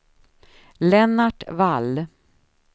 Lennart Wall